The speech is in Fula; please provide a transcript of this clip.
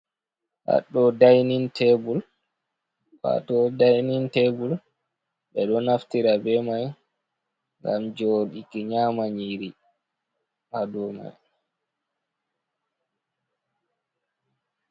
Kado dainin tebul ɓeɗo naftira be mai ngam joɗi nyama nyiri ha do mai.